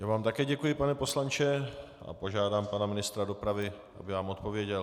Já vám také děkuji, pane poslanče, a požádám pana ministra dopravy, aby vám odpověděl.